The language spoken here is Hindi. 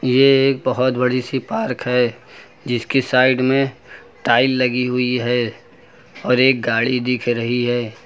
ये एक बहोत बड़ी सी पार्क है जिसकी साइड में टाइल लगी हुई है और एक गाड़ी दिख रही है।